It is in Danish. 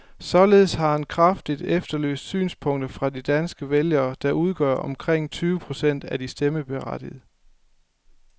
Således har han kraftigt efterlyst synspunkter fra de danske vælgere, der udgør omkring tyve procent af de stemmeberettigede.